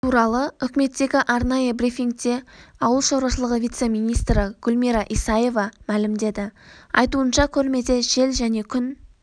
туралы үкіметтегі арнайы брифингте ауыл шаруашылығы вице-министрі гүлмира исаева мәлімеді айтуынша көрмеде жел және күн